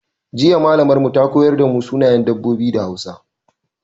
Jiya Mallamar mu ta koyar da mu sunayen dabbobi da Hausa.